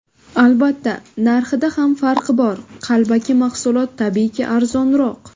Albatta, narxida ham farq bor, qalbaki mahsulot tabiiyki arzonroq”.